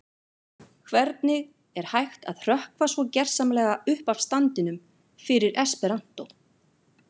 Hvernig er hægt að hrökkva svo gersamlega upp af standinum fyrir esperantó?